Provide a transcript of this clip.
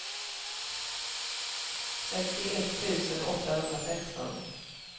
sextioett tusen åttahundrasexton